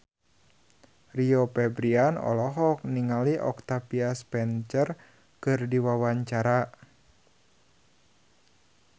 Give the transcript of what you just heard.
Rio Febrian olohok ningali Octavia Spencer keur diwawancara